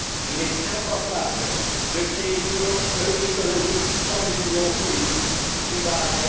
Il est impensable de créer une union économique sans l'union politique qui l'accompagne.